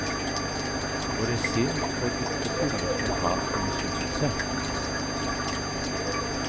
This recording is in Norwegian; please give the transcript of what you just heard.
Våre sinn får ikke fylles med hat og misunnelse.